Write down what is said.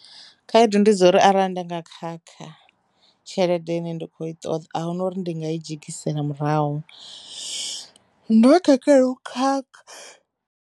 Khaedu ndi dza uri arali ndanga khakha tshelede ine ndi kho i ṱoḓa ahuna uri ndi nga i dzhegisela murahu ndo khakha ndo khakha.